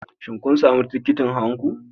Shin kun sami tikitin hawan ku?